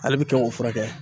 Ale bɛ kɛ o fura kɛ.